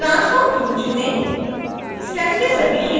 transform tool चुनें